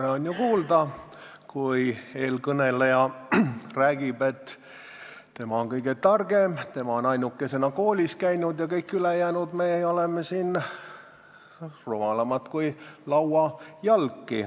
Tore oli ju kuulda, kui eelkõneleja rääkis, et tema on kõige targem, tema on ainukesena koolis käinud ja kõik meie ülejäänud siin oleme rumalamad kui lauajalg.